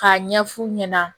K'a ɲɛ fu ɲɛna